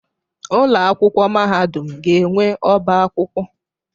Ụlọ akwụkwọ mahadum ga-enwe ọbá akwụkwọ.